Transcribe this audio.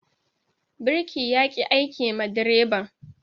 Birki ya ki aiki ma direban.